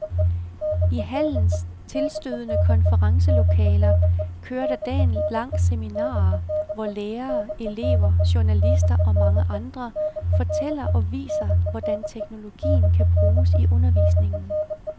I hallens tilstødende konferencelokaler kører der dagen lang seminarer, hvor lærere, elever, journalister og mange andre fortæller og viser, hvordan teknologien kan bruges i undervisningen.